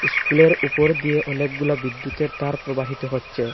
ইস্কুলের উপর দিয়ে অনেকগুলা বিদ্যুতের তার প্রবাহিত হচ্ছে।